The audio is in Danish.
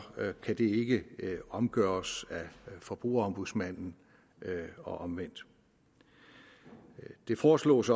kan det ikke omgøres af forbrugerombudsmanden og omvendt det foreslås